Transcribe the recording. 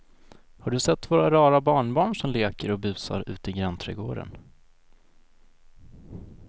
Har du sett våra rara barnbarn som leker och busar ute i grannträdgården!